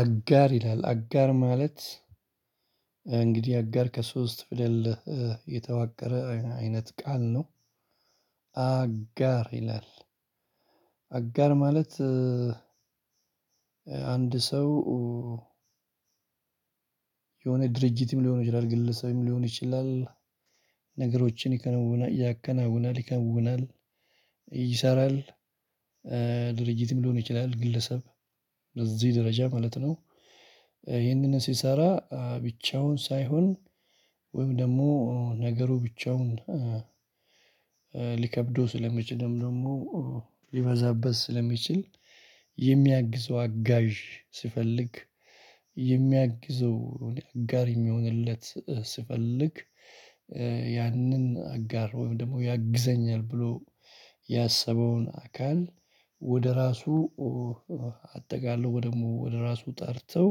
አጋር ይላል አጋር ማለት እንግዲህ አጋር ከሶስት ፊደል የተዋቀረ አይነት ቃል ነው። አጋር ይላል። አጋር ማለት። አንድ ሰው የሆነ ድርጅትም ሊሆን ይችላል ግለሰብም ሊሆን ይችላል። ነገሮችን ይከነውናል ያከናውናል ይከውናል ይሰራል። ድርጅትም ሊሆን ይችላል ግለሰብ በዚህ ደረጃ ማለት ነው። ይሄንን ሲሰራ ብቻውን ሳይሆን ወይም ደግሞ ነገሩ ብቻውን። ሊከብደው ስለሚችልም ደግሞ ሊበዛበት ስለሚችል የሚያግዘው አጋዥ ሲፈልግ የሚያግዘው አጋር የሚሆንለት ሲፈልግ። ያንን አጋር ወይም ደግሞ ያግዘኛል ብሎ ያሰበውን አካል ወደ ራሱ አጠቃሎ ደግሞ ወደ ራሱ ጠርተው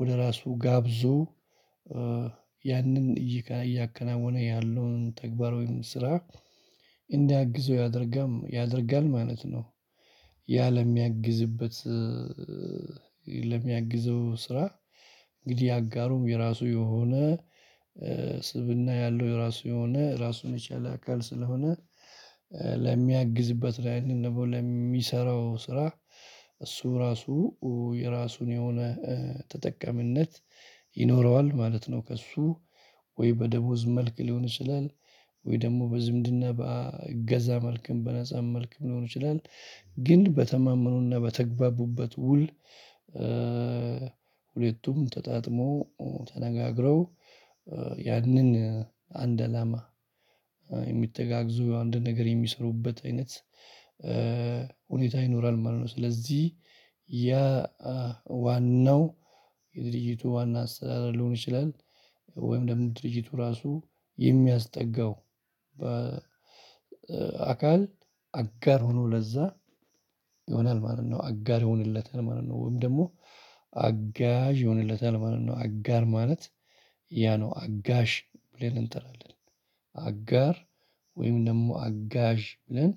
ወደ ራሱ ጋብዞ ያንን እያከናወነ ያለውን ተግባር ወይም ስራ እንዲያግዘው ያደርጋ ያደርጋል ማለት ነው። ያ ለሚያግዝበት ለሚያግዘው ስራ። እንግዲህ አጋሩም የራሱ የሆነ ስብእና ያለው የራሱ የሆነ ራሱን የቻለ አካል ስለሆነ። ለሚያግዝበት ላይ ወይም ደሞ ለሚሰራው ስራ እሱ ራሱ የራሱን የሆነ ተጠቃሚነት ይኖረዋል ማለት ነው። ከእሱ ወይ በደሞዝ መልክ ሊሆን ይችላል። ወይ ደግሞ በዝምድና በእገዛ መልክም በነፃ መልክም ሊሆን ይችላል። ግን በተማመኑና በተግባቡበት ውል። ሁለቱም ተጣጥሞ ተነጋግረው ያንን አንድ አላማ የሚተጋግዙ አንድ ነገር የሚሰሩበት አይነት ሁኔታ ይኖራል ማለት ነው። ስለዚህ ያ ዋናው የድርጅቱ ዋና አስተዳደር ሊሆን ይችላል። ወይም ደግሞ ድርጅቱ ራሱ የሚያስጠጋው በ አካል አጋር ሆኖ ለዛ ይሆናል ማለት ነው። አጋር ይሆንለታል ማለት ነው። ወይም ደግሞ አጋዥ ይሆንለታል ማለት ነው። አጋር ማለት ያ ነው አጋዥ ብለን እንጠራለን አጋር ወይም ደግሞ አጋዥ ብለን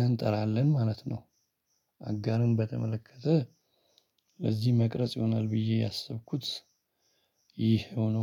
እንጠራለን ማለት ነው። አጋርን በተመለከተ ለዚህ መቅረጽ ይሆናል ብዬ ያሰብኩት ይሄ ሆኖ